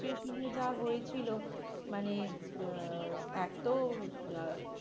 situation এ যা হয়েছিল মানে আহ এক তো আহ